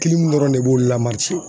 dɔrɔn ne b'olu la